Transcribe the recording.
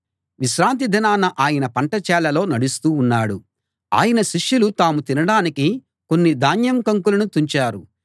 విశ్రాంతి దినాన ఆయన పంట చేలలో నడుస్తూ ఉన్నాడు ఆయన శిష్యులు తాము తినడానికి కొన్ని ధాన్యం కంకులను తుంచారు